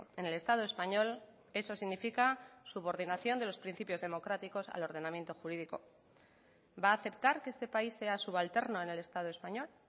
en el estado español eso significa subordinación de los principios democráticos al ordenamiento jurídico va a aceptar que este país sea subalterno en el estado español